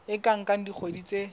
e ka nka dikgwedi tse